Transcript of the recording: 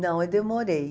Não, eu demorei.